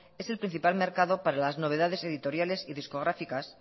es el principal mercado para las novedades editoriales y discográficas